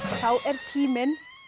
þá er tíminn